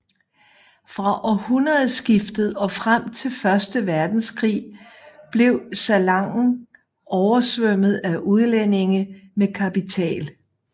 Fra århundredskiftet og frem til første verdenskrig blev Salangen oversvømmet af udlændinge med kapital